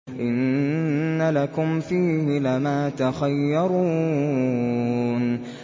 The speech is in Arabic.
إِنَّ لَكُمْ فِيهِ لَمَا تَخَيَّرُونَ